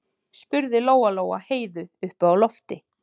spurði Lóa-Lóa Heiðu uppi á lofti.